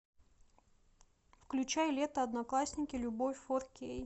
включай лето одноклассники любовь фор кей